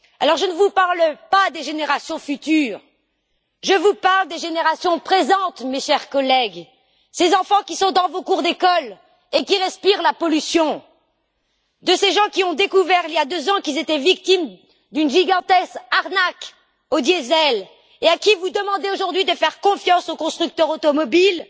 Alors, je ne vous parle pas des générations futures, je vous parle des générations présentes, mes chers collègues, de ces enfants qui sont dans vos cours d'école et qui respirent la pollution, de ces gens qui ont découvert il y a deux ans qu'ils étaient victimes d'une gigantesque arnaque au diesel et à qui vous demandez aujourd'hui de faire confiance aux constructeurs automobiles.